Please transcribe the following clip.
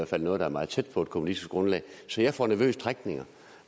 fald noget der er meget tæt på et kommunistisk grundlag så jeg får nervøse trækninger